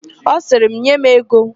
Ọ sịrị, "nye m ego"!